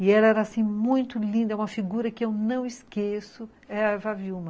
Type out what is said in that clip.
E ela era assim, muito linda, uma figura que eu não esqueço, é a Eva Wilma.